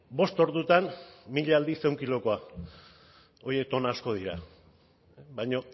bost ordutan mila aldiz ehun kilokoa horiek tona asko dira baina